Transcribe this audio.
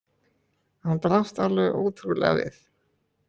Hann brást alveg ótrúlega við!